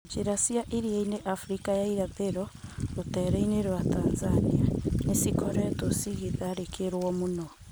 Njira cia iriainĩ Africa ya irathĩro rũteereinĩ rwa Tanzania nĩ cikoretwo cikĩtharĩkĩrwo mũno.